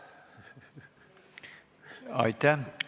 Aitäh!